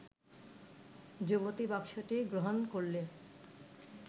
যুবতী বক্সটি গ্রহণ করলে